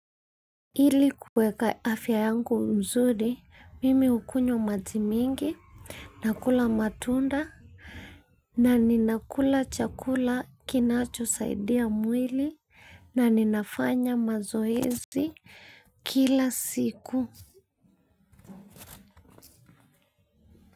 Ili kuweka afya yangu mzuri, mimi hukunywa maji mingi, na kula matunda, na ninakula chakula kinachosaidia mwili, na ninafanya mazoezi kila siku.